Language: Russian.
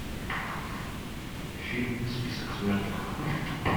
фильм список смертников